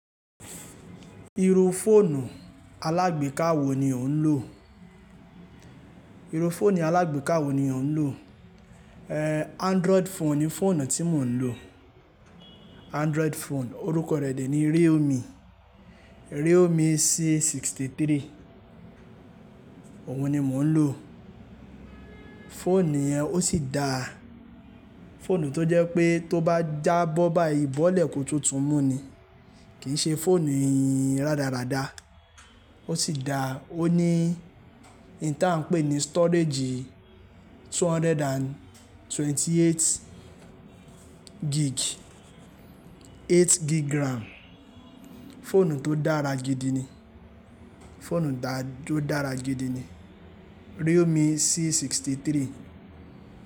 Iru foonu alagbeeka wo ni o n lo? Iro foonu alagbeeka wo ni o n lo? Eh, Android phone ni foonu ti mo n lo. Android phone, oruko re de ni Realme. Realme C63. Oun ni mo n lo. Foonu yen o si da foonu to je pe to ba jabọ bayi bole ko tun tun mu ni. Kii se foonu yin radarada. O si da, o ni n tia n pe ni storage 228 gig, eight gig RAM. Foonu to dara gidi ni. Foonu to dara gidi ni. Realme C63.